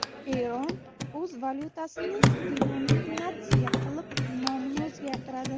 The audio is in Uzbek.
Eron o‘z valyutasini denominatsiya qilib, nomini o‘zgartiradi.